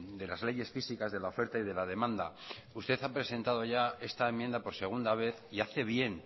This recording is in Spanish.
de las leyes físicas de la oferta y de la demanda ustedes han presentado ya esta enmienda por segunda vez y hace bien